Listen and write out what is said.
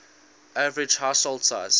average household size